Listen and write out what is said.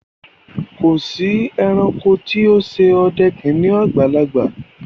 Kò sí èránkò tí ó n ṣè ọdẹ kìnnìún àgbàlagbà